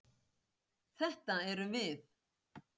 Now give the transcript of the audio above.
Þetta erum við.